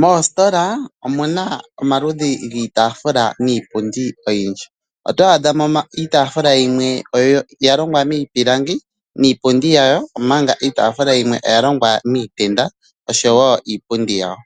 Moositola omuna omaludhi giitaafula niipundi oyindji. Oto adha mo iitaafula yimwe oya longwa miipilangi niipundi yayo, omanga iitaafula yimwe oya longwa miitenda oshowo iipundi yawo.